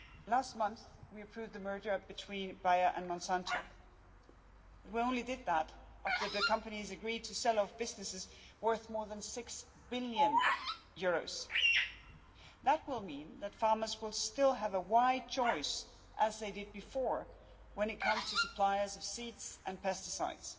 Last month, we approved the merger between Bayer and Monsanto, and we only did that after the companies agreed to sell off businesses worth more than EUR six billion. That will mean that farmers will still have a wide choice, as they did before, when it comes to suppliers of seeds and pesticides,